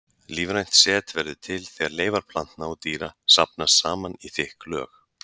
Lífrænt set verður til þegar leifar plantna og dýra safnast saman í þykk lög.